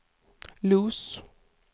Los